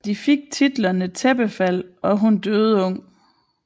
De fik titlerne Tæppefald og Hun døde ung